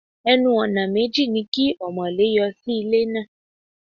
Ẹnu-ọ̀nà méjì ni kí ọmọ̀lé yọ sí ilé náà.